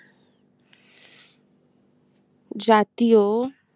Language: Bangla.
জাতীয়